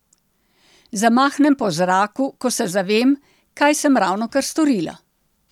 Zamahnem po zraku, ko se zavem, kaj sem ravnokar storila.